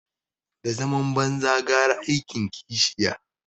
Da zaman banza gara aikin kishiya